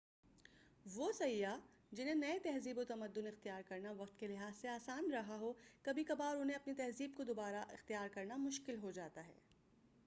وہ سیاح جنہیں نئے تہذیب و تمدن اختیار کرنا وقت کے لحاظ سے آسان رہا ہو کبھی کبھار انہیں اپنی تہذیب کو دوبارہ اختیار کرنا مشکل ہوجاتا ہے